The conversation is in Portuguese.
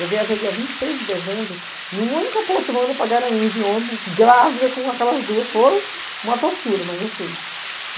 Eu viajei dia vinte seis de dezembro, em uma única poltrona para Garanhuns, de ônibus, grávida com aquelas duas, foi uma tortura, mas eu fui.